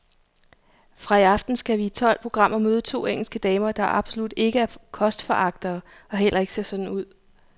Fra i aften skal vi i tolv programmer møde to engelske damer, der absolut ikke er kostforagtere og heller ikke ser sådan ud.